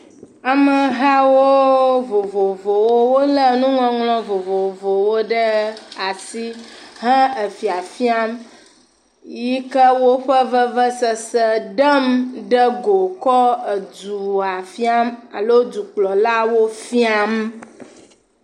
Amehawo vovovowo, wole nuŋɔŋlɔ vovovowo ɖe asi hã efiafiam, yike woƒe veve sese ɖem ɖe go ekɔ edua fiam alo duklɔlawo fiam.